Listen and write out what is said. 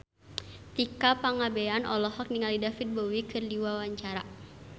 Tika Pangabean olohok ningali David Bowie keur diwawancara